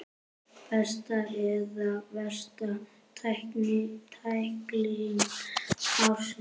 Besta eða versta tækling ársins?